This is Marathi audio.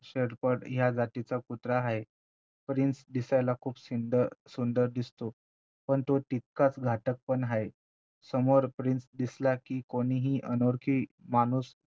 शेपर्ड ह्या जातीचा कुत्रा आहे प्रिन्स दिसायला खूप सुंद सुंदर दिसतो पण तो तितकाचं घातक पण आहे समोर प्रिन्स दिसला कि कोणीही अनोळखी माणूस